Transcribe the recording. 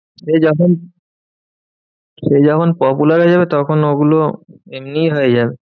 সে যখন সে যখন popular হয়ে যাবে, তখন ওগুলো এমনই হয়ে যাবে।